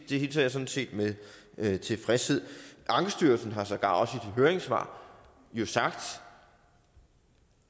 hilser jeg sådan set med tilfredshed ankestyrelsen har sågar også i sit høringssvar sagt